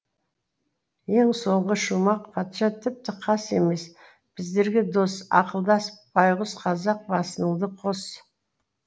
ең соңғы шумақ патша тіпті қас емес біздерге дос ақылдас байғұс қазақ басыңды қос